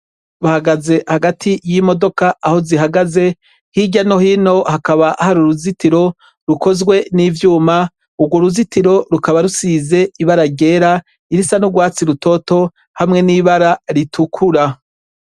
Bahagaze hagati y'imodoka aho zihagaze, hirya no hino hakaba hari uruzitiro rukozwe n'ivyuma. Urwo ruzitiro rukaba rusize ibara ryera, irisa n'ugwatsi rutoto hamwe n'ibara ritukura.